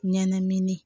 Ɲɛnamini